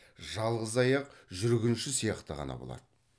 жалғыз аяқ жүргінші сияқты ғана болады